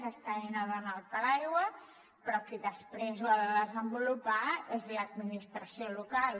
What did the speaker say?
aquesta eina dona el paraigua però qui després l’ha de desenvolupar és l’administració local